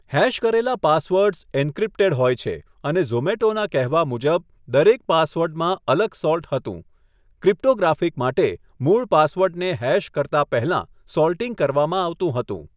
Hash કરેલા passwords encrypted હોય છે, અને ઝોમેટોના કહેવા મુજબ, દરેક પાસવર્ડમાં અલગ 'સોલ્ટ' હતું, ક્રિપ્ટોગ્રાફિક માટે, મૂળ પાસવર્ડને હેશ કરતા પહેલા સૉલ્ટિંગ કરવામાં આવતું હતું.